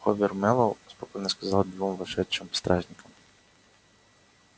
хобер мэллоу спокойно сказал двум вошедшим стражникам